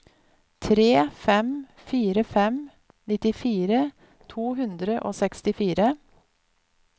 tre fem fire fem nittifire to hundre og sekstifire